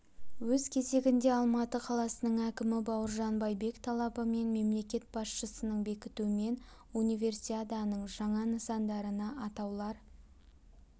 өз кезегінде алматы қаласының әкімі бауыржан байбек талабы мен мемлекет басшысының бекітуімен универсиаданың жаңа нысандарына атаулар